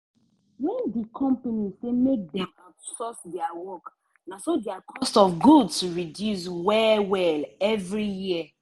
when di company say make dem outsource dia work naso dia cost of goods reduce well-well every year.